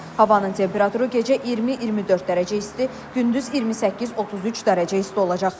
Havanın temperaturu gecə 20-24 dərəcə isti, gündüz 28-33 dərəcə isti olacaq.